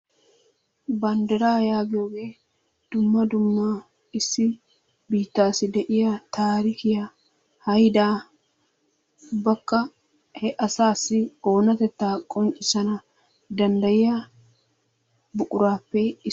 bandiraa yaagiyooge dumma dumma issi biittaassi de'iya taarikkiya haydaa ubbakka he asaassi oonatettaa qonccisana danddayiya buquraappe issuwa.